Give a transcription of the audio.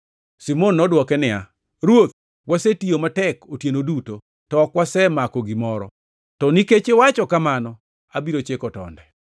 Simon nodwoke niya, “Ruoth, wasetiyo matek otieno duto to ok wasemako gimoro. To nikech iwacho kamano, abiro chiko tonde.”